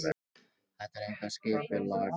Þar er eitthvað skipulag fyrir.